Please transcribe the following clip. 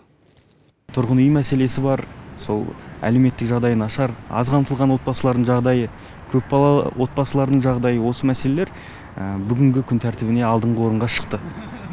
тұрғын үй мәселесі бар сол әлеуметтік жағдайы нашар аз қамтылған отбасылардың жағдайы көпбалалы отбасылардың жағдайы осы мәселелер күн тәртібіне алдыңғы орынға шықты